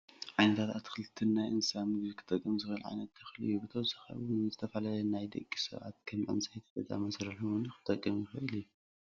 ዓይነታት ኣትኽልትን ናይ እንስሳት ምግቢ ክጠቅም ዝክእል ዓይነት ተክሊ እዩ። ብተወሳኪ እውን ንዝተፈላለዩ ናይይ ደቂ ሰባት ከም ዕንፀይትን ገዛ መፅርሕን እወን ክጠቅም ይኽልእ እዩ።